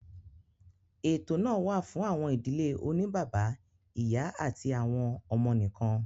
Ètò náà wa fún àwọn ìdílé oní bàbá, ìyá àti àwọn ọmọ nìkan